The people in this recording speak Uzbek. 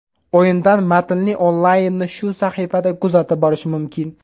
O‘yindan matnli onlaynni shu sahifada kuzatib borish mumkin.